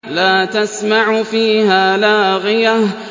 لَّا تَسْمَعُ فِيهَا لَاغِيَةً